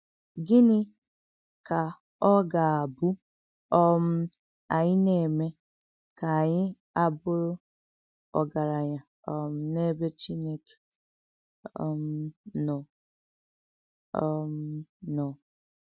Gịnị́ kà ọ gà-àbù um ànyị nà-èmè ka ànyị àbụ̀rù ògaránya um n’èbè Chìnèké um nọ? um nọ?